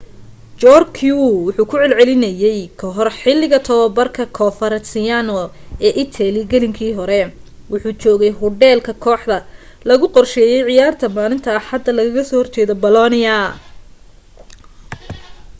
jarque wuxuu ku celcelinayey ka hor xiliga tobabarka coverciano ee italy gelinka hore wuxuu joogay hodheel ka koaxda lagu qorsheeyey ciyaarta maalinta axada lagaga soo hor jeedey bolonia